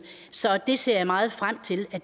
så jeg ser meget frem til at